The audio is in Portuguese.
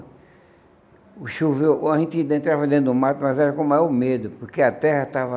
Choveu A gente ainda entrava dentro do mato, mas era com maior medo, porque a terra estava